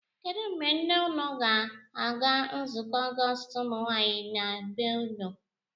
Kedụ mgbe nne unu ga-ala nzukọ Ọgọọst ụmụnwaanyị na be unu?